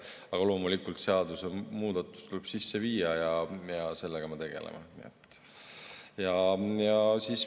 Aga loomulikult tuleb seadusemuudatus sisse viia ja sellega me tegeleme.